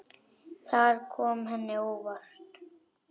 Það kom henni á óvart.